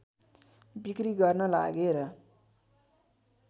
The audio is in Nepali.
बिक्री गर्न लागेर